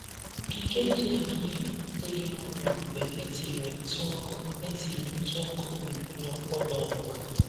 Ogige ji anyị dịghị ọrịa mgbe etinyere ntụ ọkụ etinyere ntụ ọkụ gburugburu mkpọda ọ bụla.